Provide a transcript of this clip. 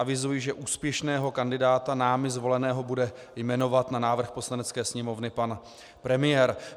Avizuji, že úspěšného kandidáta námi zvoleného bude jmenovat na návrh Poslanecké sněmovny pan premiér.